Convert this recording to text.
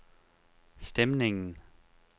stemningen